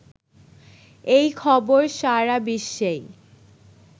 এই খবর সারা বিশ্বেই